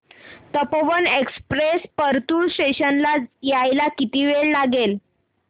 Tapovan express Partur station ला यायला किती वेळ लागेल